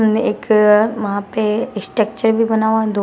एक वहां पे स्ट्रक्चर भी बना हुआ दो--